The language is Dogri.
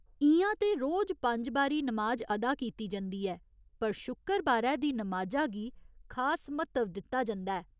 इ'यां ते रोज पंज बारी नमाज अदा कीती जंदी ऐ, पर शुक्करबारे दी नमाजा गी खास म्हत्तव दित्ता जंदा ऐ।